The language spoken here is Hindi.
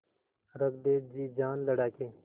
रख दे जी जान लड़ा के